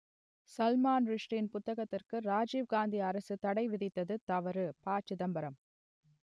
சல்மான் ருஷ்டியின் புத்தகத்திற்கு ராஜீவ் காந்தி அரசு தடை விதித்தது தவறு ப சிதம்பரம்